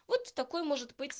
вот такой может быть